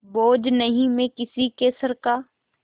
बोझ नहीं मैं किसी के सर का